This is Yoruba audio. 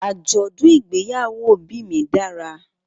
Mi obi igbeyawo aseye dara.